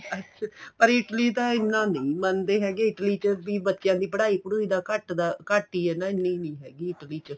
ਅੱਛਾ ਪਰ Italy ਤਾਂ ਐਨਾ ਨਹੀਂ ਮੰਨਦੇ ਹੈਗੇ Italy ਚ ਬੱਚਿਆ ਦੀ ਪੜਾਈ ਪੁੜਈ ਦਾ ਘੱਟ ਦਾ ਘੱਟ ਹੀ ਐਨੀਂ ਨਹੀਂ ਹੈਗੀ Italy ਚ